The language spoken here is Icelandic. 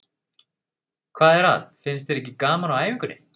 Hvað er að, finnst þér ekki gaman á æfingunni?